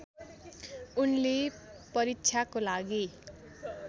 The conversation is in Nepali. उनले परीक्षाको लागि